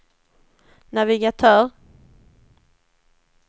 navigatör